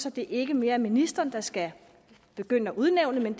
at det ikke mere er ministeren der skal udnævne men